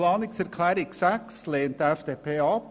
Die Planungserklärung 6 lehnt die FDP ab.